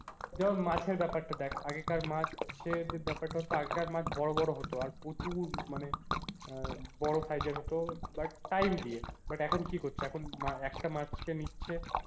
যেমন মাছের ব্যাপারটা দেখ আগেকার মাছের ব্যাপারটা হতো আগেকার মাছ বড়ো বড়ো হতো আর প্রচুর মানে বড়ো size এর হত but দিয়ে but এখন কি করছে এখন একটা মাছকে নিচ্ছে,